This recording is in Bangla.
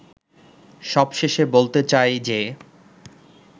সবশেষে বলতে চাই যে